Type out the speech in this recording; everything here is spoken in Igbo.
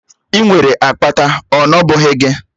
Ị nwere akpata, ọ nọ bụghị gị?